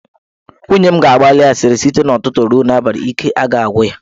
Nwunye m ga-agbali asịrị site n'ụtụtụ ruo n'abalị, ike agaghị agwụ ya.